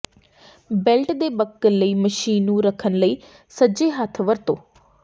belt ਦੇ buckle ਲਈ machine ਨੂੰ ਰੱਖਣ ਲਈ ਸੱਜੇ ਹੱਥ ਵਰਤੋ